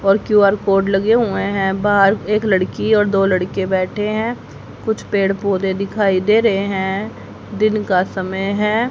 और Q R code लगे हुएं हैं बाहर एक लड़की और दो लड़के बैठे हैं कुछ पेड़ पौधे दिखाई दे रहे हैं दिन का समय हैं।